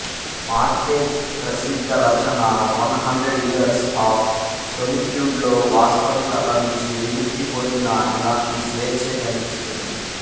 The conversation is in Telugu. మార్కెజ్ ప్రసిద్ధ రచన ఒన్ హండ్రడ్ ఇయర్స్ ఆఫ్ సొలిట్యూడ్లో వాస్తవికత నుంచి విముక్తి పొందిన ఇలాంటి స్వేచ్ఛే కనిపిస్తుంది